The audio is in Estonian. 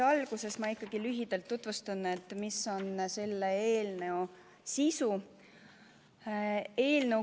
Alguses ma ikkagi lühidalt tutvustan, mis on selle eelnõu sisu.